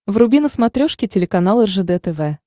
вруби на смотрешке телеканал ржд тв